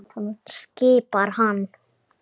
skipar hann.